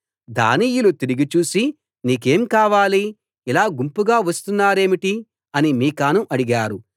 దానీయులు తిరిగి చూసి నీకేం కావాలి ఇలా గుంపుగా వస్తున్నరేమిటి అని మీకాను అడిగారు